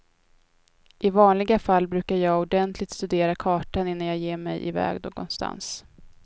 I vanliga fall brukar jag ordentligt studera kartan innan jag ger mig i väg någonstans.